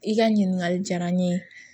I ka ɲininkali diyara n ye